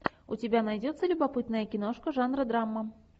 у тебя найдется любопытная киношка жанра драма